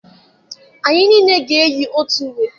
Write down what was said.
Anyị niile ga-eyi otu uwe.